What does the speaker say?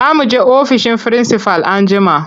Za mu je ofishin firinsifal anjima.